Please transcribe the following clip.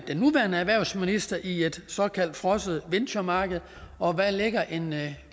den nuværende erhvervsminister i et såkaldt frosset venturemarked og hvad lægger en